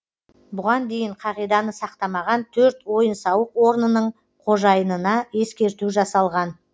бұған дейін қағиданы сақтамаған төрт ойын сауық орнының қожайынына ескерту жасалған